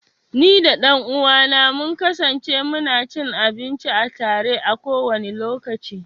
Ni da ɗan uwa na mun kasance mu na cin abinci a tare, a kowane lokaci.